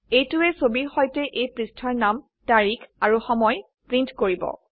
এইটোৱে ছবিৰ সৈতে এই পৃষ্ঠাৰ নাম তাৰিখ আৰু সময় প্ৰীন্ট কৰিব